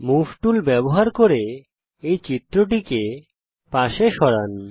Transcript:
move tool ব্যবহার করে এই চিত্রটিকে পাশে সরান